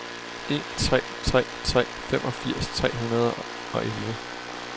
en tre tre tre femogfirs tre hundrede og elleve